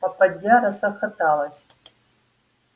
попадья расхлопоталась